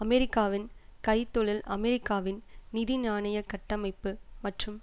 அமெரிக்காவின் கை தொழில் அமெரிக்காவின் நிதிநாணய கட்டமைப்பு மற்றும்